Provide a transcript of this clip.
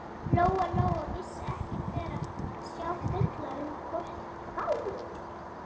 Lóa Lóa vissi ekkert verra en að sjá fullorðið fólk gráta.